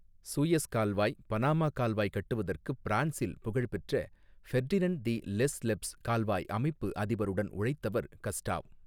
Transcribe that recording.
Suez கால்வாய் Panama கால்வாய் கட்டுவதற்குப் பிரான்ஸில் புகழ்பெற்ற ஃபெர்டினென்ட் தி லெஸ்லெப்ஸ் கால்வாய் அமைப்பு அதிபருடன் உழைத்தவர் கஸ்டாவ்.